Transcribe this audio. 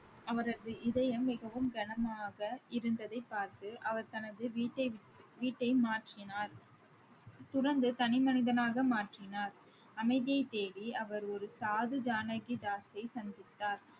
அவரது இதயம் மிகவும் கனமாக இருந்ததைப் பார்த்து அவர் தனது வீட்டை விட்~ வீட்டை மாற்றினார் தனி மனிதனாக மாற்றினார் அமைதியைத் தேடி அவர் ஒரு சாது ஜானகி தாஸை சந்தித்தார்